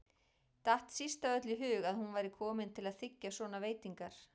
Datt síst af öllu í hug að hún væri komin til að þiggja svona veitingar.